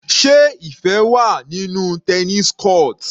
Sé Ifẹ wà nínú tennis court?